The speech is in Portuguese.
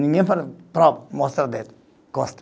Ninguém fala, prova, mostra dedo, costa.